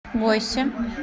бойсе